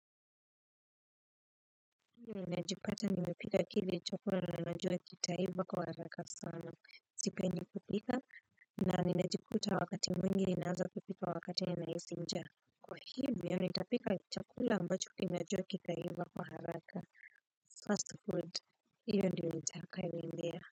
Ndio najipata nimepika kile chakula na najua kitaiva kwa haraka sana. Sipendi kupika na ninajikuta wakati mwingi ninaanza kupika wakati ninahisi njaa. Kwa hivyo nitapika chakula ambacho najua kitaiva kwa haraka Fast food hiyo ndiyo nitakayoendea.